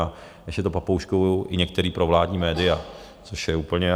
A ještě to papouškujou i některá provládní média, což je úplně...